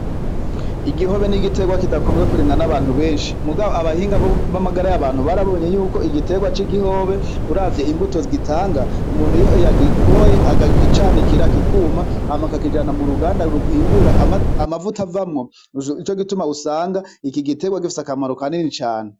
Igihobe ni igiterwa kidakunze kurimwa n'abantu benshi. Mugabo abahinga b'amagara y'abantu barabonye ko igiterwa c'igihobe uravye imbuto gitanga, umuntu iyo yagikoboye, akacanikira kikuma, hanyuma akakijana mu ruganda ruhingura amavuta avamwo, nico gituma usanga iki giterwa gifise akamaro kanini cane.